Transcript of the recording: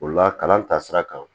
O la kalan taasira kan